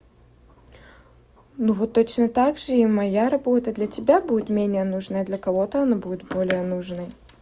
ну вот точно также и моя работа для тебя будет менее нужная для кого-то она будет более нужной